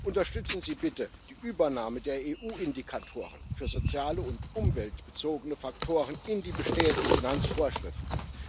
Unterstützen Sie bitte die Übernahme der EU Indikatoren für soziale und umweltbezogene Faktoren in die bestehenden Finanzvorschriften!